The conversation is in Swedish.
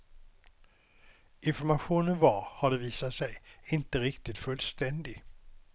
Informationen var, har det visat sig, inte riktigt fullständig.